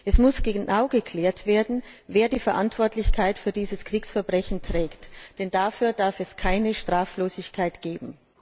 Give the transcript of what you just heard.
Es muss genau geklärt werden, wer die Verantwortlichkeit für dieses Kriegsverbrechen trägt, denn dafür darf es keine Straflosigkeit geben.